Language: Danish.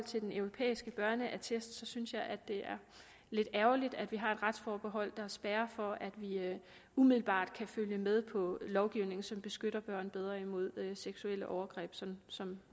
til den europæiske børneattest synes jeg at det er lidt ærgerligt at vi har et retsforbehold der spærrer for at vi umiddelbart kan følge med på en lovgivning som beskytter børn bedre imod seksuelle overgreb sådan som